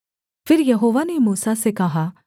फिर यहोवा ने मूसा से कहा